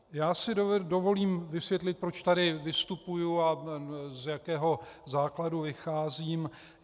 Já si dovolím vysvětlit, proč tady vystupuji a z jakého základu vycházím.